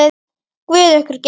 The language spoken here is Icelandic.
Guð ykkur geymi.